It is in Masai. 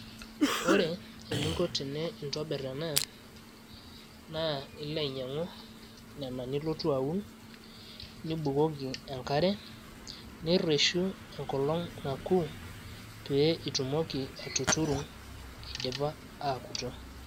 ore eningo tinintobir ena naa ilo ainyang'u nena nilotu aun nibukoki enkare ,nireshu engolong naku pee itumoki atuturu idipa aakuto.